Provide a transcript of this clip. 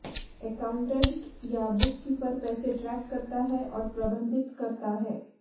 accountant या bookkeeper पैसे track करता है और प्रबंधित करता है